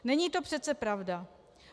Není to přece pravda.